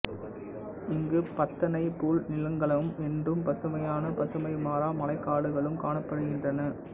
இங்கு பத்தனைப் புல் நிலங்களும் என்றும் பசுமையான பசுமை மாறா மலைக்காடுகளும் காணப்படுகின்றன